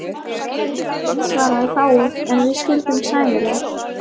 Benedikt svaraði fáu, en við skildum sæmilega.